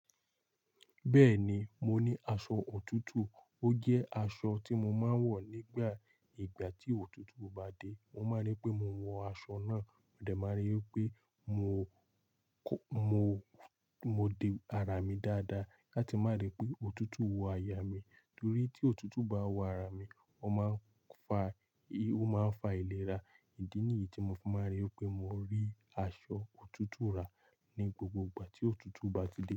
Bẹ́ẹ̀ni, mo ní aṣọ òtútù. Ó jẹ́ aṣọ tí mo máa ń wọ̀ nígbà ìgbà tí òtútù bá dé. Mo máa ń ríi pé mo wọ aṣọ náà, mo dẹ̀ máa ń ri wípé pé mo, mo, mo de ara mi dáadáa láti má rí pé òtútù wọ àyà mi. Nítorí tí òtútù bá wọ ara mi, ó máa ń fa, ó máa ń fa ìlera. Ìdí nìyí tí mo fi máa ń ri wípé mo rí aṣọ òtútù rà ní gbogbo ìgbà tí òtútù bá ti dé.